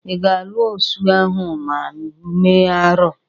Ị ga-alụ osu ahụ ma mee arụ?